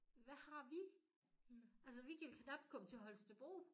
Hvad har vi? Altså vi kan knap komme til Holstebro